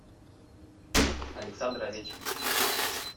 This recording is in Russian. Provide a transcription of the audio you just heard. александр овечкин